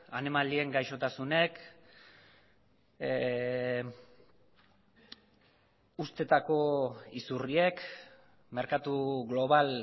animalien gaixotasunek uztetako izurriek merkatu global